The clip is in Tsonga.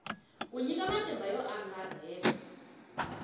ku nyika matimba yo angarhela